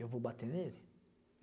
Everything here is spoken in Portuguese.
Eu vou bater nele?